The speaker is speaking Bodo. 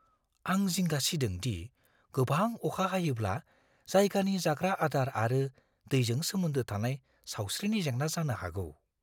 आं जिंगा सिदों दि गोबां अखा हायोब्ला जायगानि जाग्रा-आदार आरो दैजों सोमोन्दो थानाय सावस्रिनि जेंना जानो हागौ।